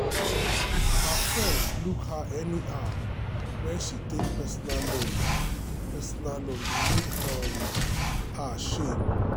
her friends look her anyhow when um she take personal loan personal loan e make um her um shame.